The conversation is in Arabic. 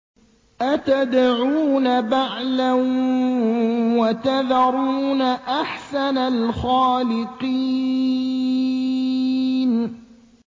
أَتَدْعُونَ بَعْلًا وَتَذَرُونَ أَحْسَنَ الْخَالِقِينَ